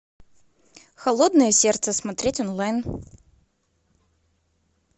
холодное сердце смотреть онлайн